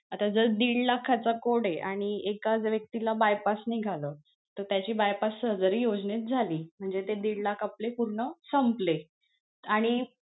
आता जर दीड लाखाचा code आणि एका जर व्यक्तीला bypass निघालं तर त्याची bypass surgery योजनेत झाली म्हणजे ते दीड लाख आपले पूर्ण संपले आणि,